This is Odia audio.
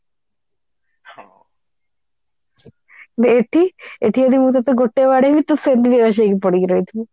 କିନ୍ତୁ ଏଠି ଏଠି ଯଦି ମୁଁ ତତେ ଗୋଟେ ବାଡେଇବି ତୁ ସେମିତି ବେହୋସ ହେଇକି ପଡିକି ରହିଥିବୁ